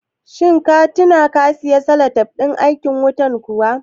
Shin ka tina ka siyo salatif ɗin aikin wutan kuwa?